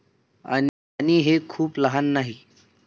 आणि हे खूप लहान नाही.